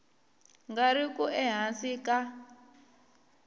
nga ri ku ehansi ka